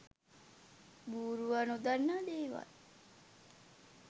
බූරුවා නොදන්නා දේවල්